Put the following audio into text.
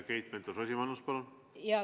Keit Pentus-Rosimannus, palun!